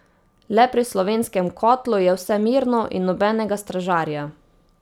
Le pri slovenskem kotlu je vse mirno in nobenega stražarja.